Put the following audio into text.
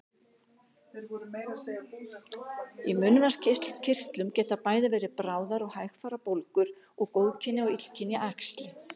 Í munnvatnskirtlum geta bæði verið bráðar og hægfara bólgur og góðkynja og illkynja æxli.